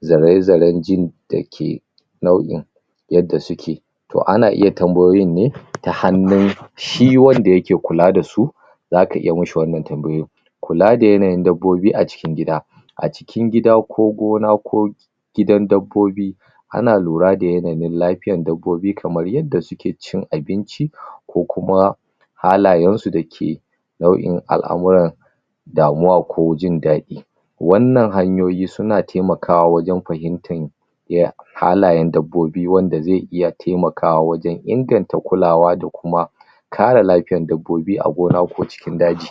zare zaren jin da ke nau'in yadda su ke toh ana iya tambayoyin ne, ta hanun shi wanda ya ke kula da su za ka iya mishi wannan tambayoyin kula da yanayin dabobi a cikin gida a cikin gida, ko gona, ko gidan dabobi ana lura da yanayin lafiyan dabobi kamar yadda su ke cin abinci, ko kuma halayen su da ke nau'in al'amuran damuwa ko jin dadi wannan hanyoyi su na taimakawa wajen fahimtan iya halayen dabobi wanda zai iya taimakawa wajen inganta kulawa da kuma kare lafiyan dabobi, a gona ko cikin daji